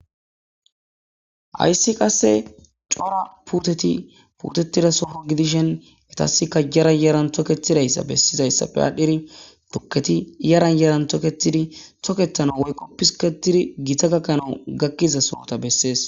hayssi qasse cora puteti puutettida soho gidishen etasika yara yaran toketidayssa bessizayssappe aadhdhiri tokketi yaran yaran toketidi toketana woykkoppisketidi giita gakkanau gakkiza sohota bessees